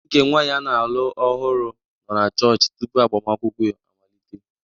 Nne nke nwanyị a na-alụ ọhụrụ nọ na chọọchị tupu agbamakwụkwọ amalite.